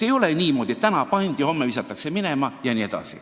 Ei ole niimoodi, et täna pannakse ametisse ja homme aetakse minema.